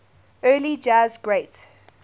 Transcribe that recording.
early jazz great